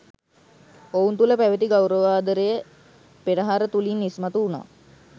ඔවුන් තුළ පැවැති ගෞරවාදරය පෙරහර තුළින් ඉස්මතු වුණා.